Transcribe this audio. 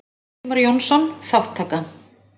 Ingimar Jónsson: Þátttaka.